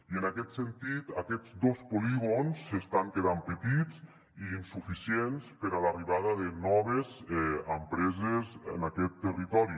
i en aquest sentit aquests dos polígons estan quedant petits i insuficients per a l’arribada de noves empreses en aquest territori